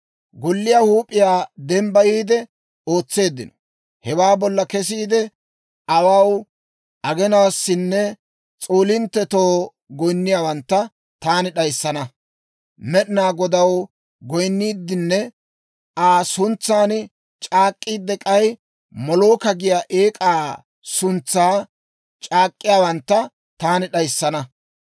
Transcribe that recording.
Golliyaa huup'iyaa dembbayiide ootseeddino; hewaa bolla kesiide, awaaw, aginaassinne s'oolinttetoo goyinniyaawantta taani d'ayissana. Med'inaa Godaw goyinniiddinne Aa suntsan c'aak'k'iidde, k'ay Molooka giyaa eek'aa suntsan c'aak'k'iyaawantta taani d'ayissana.